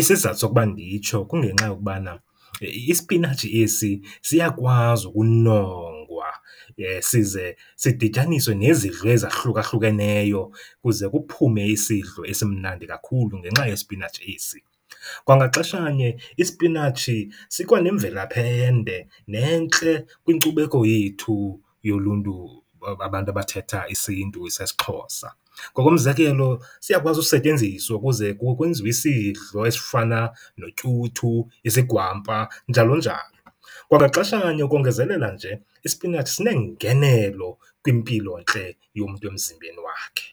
Isizathu sokuba nditsho kungenxa yokubana isipinatshi esi siyakwazi ukunongwa size sidityaniswe nezidlo ezahlukahlukeneyo kuze kuphume isidlo esimnandi kakhulu ngenxa yesipinatshi esi. Kwangaxeshanye isipinatshi sikwanemvelaphi ende nentle kwinkcubeko yethu yoluntu, abantu abathetha isiNtu sesiXhosa. Ngokomzekelo, siyakwazi usetyenziswa ukuze kwenziwe isidlo esifana notyuthu, izigwampa njalonjalo. Kwangaxeshanye ukongezelela nje, isipinatshi sineengenelo kwimpilontle yomntu emzimbeni wakhe.